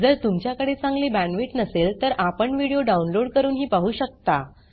जर तुमच्याकडे चांगली बॅण्डविड्थ नसेल तर आपण व्हिडिओ डाउनलोड करूनही पाहू शकता